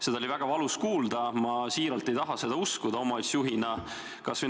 Seda oli väga valus kuulda, ma tõesti ei taha seda endise omavalitsusjuhina uskuda.